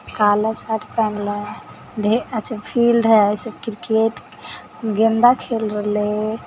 काला शर्ट पहेनले है। ढेर अच्छा फील्ड है। ई सब क्रिकेट गेंदा खेल रहले है।